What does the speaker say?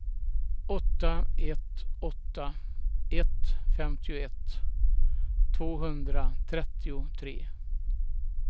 åtta ett åtta ett femtioett tvåhundratrettiotre